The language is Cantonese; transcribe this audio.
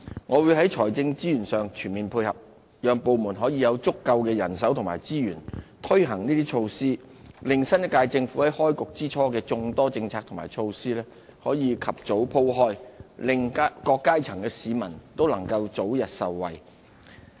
我會在財政資源上全面配合，讓部門可以有足夠的人手和資源，推行這些措施，令新一屆政府在開局之初的眾多政策和措施可以及早鋪展開來，令各階層的市民都能夠早日受惠。